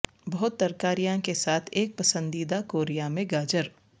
بہت ترکاریاں کے ساتھ ایک پسندیدہ کوریا میں گاجر